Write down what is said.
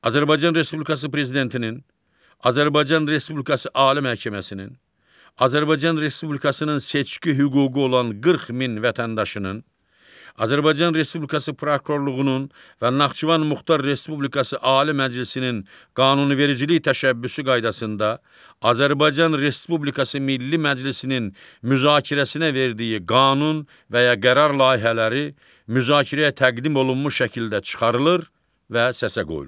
Azərbaycan Respublikası Prezidentinin, Azərbaycan Respublikası Ali Məhkəməsinin, Azərbaycan Respublikasının seçki hüququ olan 40 min vətəndaşının, Azərbaycan Respublikası prokurorluğunun və Naxçıvan Muxtar Respublikası Ali Məclisinin qanunvericilik təşəbbüsü qaydasında Azərbaycan Respublikası Milli Məclisinin müzakirəsinə verdiyi qanun və ya qərar layihələri müzakirəyə təqdim olunmuş şəkildə çıxarılır və səsə qoyulur.